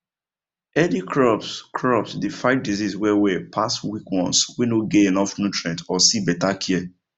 healthy crops crops dey fight disease well well pass weak ones wey no get enough nutrients or see better care